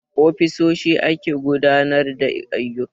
A ofisoshi ake gudanar da ayyuka